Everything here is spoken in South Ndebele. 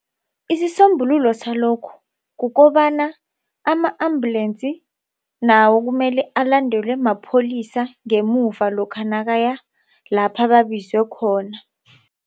Isisombululo salokho kukobana ama-ambulance nawo kumele alandelwe mapholisa ngemuva lokha nakaya lapha babizwe khona.